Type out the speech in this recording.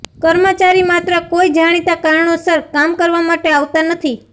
કર્મચારી માત્ર કોઈ જાણીતા કારણોસર કામ કરવા માટે આવતા નથી